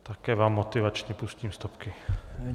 Také vám motivačně pustím stopky.